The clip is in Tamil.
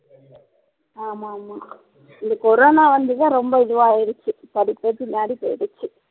ஆமா ஆமா இந்த கொரோன வந்துதான் ரொம்ப இதுவா ஆயிருச்சு படிப்பே பின்னாடி போய்டிச்சி